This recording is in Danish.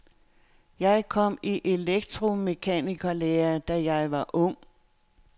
Jeg kom i elektromekanikerlære, da jeg var ung.